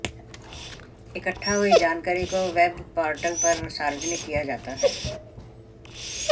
इकट्ठा हुई जानकारी को वेब पोर्टल पर सार्वजनिक किया जाता है